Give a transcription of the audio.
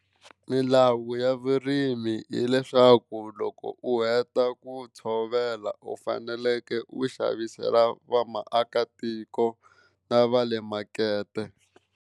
Milawu ya vurimi hileswaku loko u heta ku tshovela u faneleke u xavisela va maakatiko na va le makete.